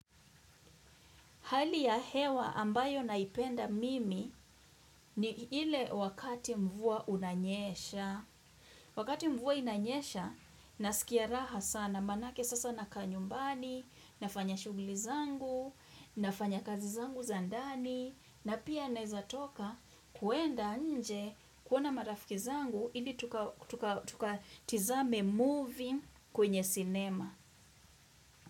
Hali ya hewa ambayo naipenda mimi ni ile wakati mvua unanyesha. Wakati mvua unanyesha, nasikia raha sana. Manake sasa nakaa nyumbani, nafanya shughli zangu, nafanya kazi zangu za ndani, na pia nezatoka kuenda nje kuona marafiki zangu, ili tukatazame movie kwenye cinema.